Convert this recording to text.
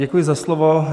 Děkuji za slovo.